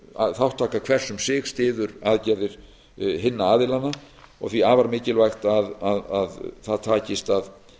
að þátttaka hvers um sig styður aðgerðir hinna aðilanna og því afar mikilvægt að það takist að